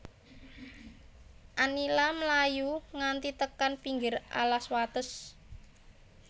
Anila mlayu nganti tekan pinggir alas wates